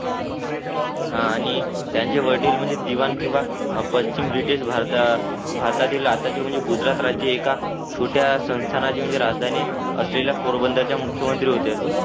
हा आणि त्यांचे वडील म्हणजे दिवाण किंवा पश्चिम ब्रिटिश भारतात भारतातील आताचे गुजरात राज्य एका आहे का छोटा संस्थानाचे म्हणजे राजधानी असलेल्या पोरबंदरच्या मुख्यमंत्री होत्या.